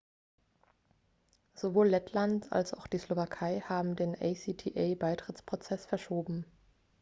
sowohl lettland als auch die slowakei haben den acta-beitrittsprozess verschoben